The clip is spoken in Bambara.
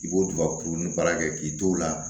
I b'o don ka kurun ni baara kɛ k'i t'o la